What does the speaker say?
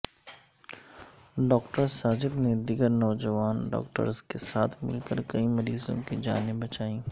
doctor Sajid نے دیگر نوجوان ڈاکٹرز کے ساتھ مل کر کئی مریضوں کی جانیں بچائیں